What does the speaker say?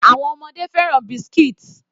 Àwọn ọmọdé fẹ́ràn biscuits.